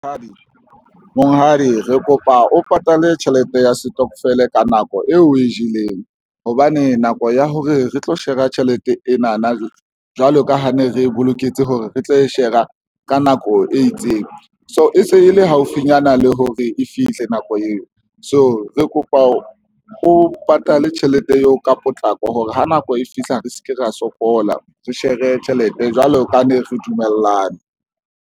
Monghadi re kopa o patale tjhelete ya setokofele ka nako eo o e jeleng hobane nako ya hore re tlo shera tjhelete ena na, jwalo ka ha ne re boloketse hore re tlo e shera ka nako e itseng. So e se e le haufinyana le hore e fihle nako eo. So re kopa o patale tjhelete eo ka potlako hore ha nako e fihla re se ke ra sokola, re share tjhelete jwalo ka ne re dumellane.